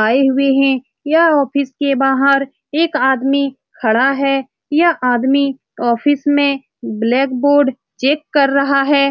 आए हुए हैं यह ऑफिस के बाहर एक आदमी खड़ा है यह आदमी ऑफिस में ब्लैक बोर्ड चेक कर रहा है ।